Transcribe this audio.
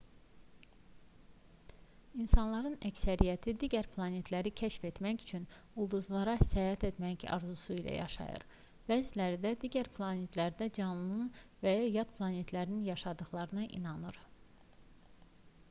i̇nsanların əksəriyyəti digər planetləri kəşf etmək üçün ulduzlara səyahət etmək arzusu ilə yaşayır bəziləri də digər planetlərdə canlıların və ya yadplanetlilərin yaşadıqlarına inanır